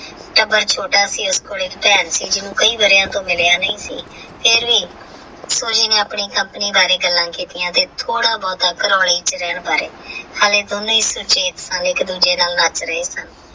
ਟੱਬਰ ਛੋਟਾ ਸੀ ਉਸ ਕੋਲੋਂ ਭੈਣ ਸੀ ਜਿਵੇ ਕਈ ਵਾਰਿਆ ਤੋਂ ਮਿਲਿਆ ਨਹੀਂ ਸੀ ਫੇਰ ਵੀ ਸੂਜੀ ਨੇ ਆਪਣੀ Company ਬਾਰੇ ਗੱਲਾਂ ਕਿੱਤਿਆਂ ਤੇ ਥੋੜਾ ਬਹੁਤਾ ਵਿੱਚ ਰਹਿਣ ਬਾਰੇ ਹਾਲੇ ਦੋਨੋ ਹੀ ਸੁਚੇਤ ਸਨ ਇੱਕ ਦੂਜੇ ਨਾਲ ਮੱਚ ਰਹੇ ਸਨ।